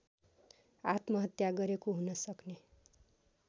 आत्महत्या गरेको हुनसक्ने